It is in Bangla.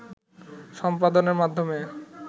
সম্পাদনের মাধ্যমে